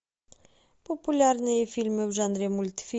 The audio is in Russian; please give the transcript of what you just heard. популярные фильмы в жанре мультфильм